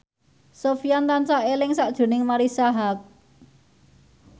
Sofyan tansah eling sakjroning Marisa Haque